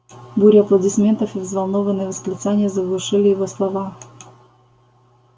буря аплодисментов и взволнованные восклицания заглушили его слова